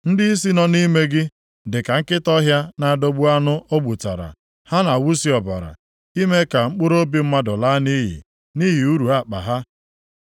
Ndịisi nọ nʼime gị dịka nkịta ọhịa na-adọgbu anụ o gbutara. Ha na-awụsi ọbara, ime ka mkpụrụobi mmadụ laa nʼiyi nʼihi uru akpa ha.